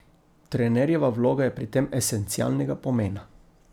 Trenerjeva vloga je pri tem esencialnega pomena.